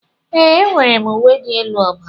Ee, enwere m uwe elu ọbara.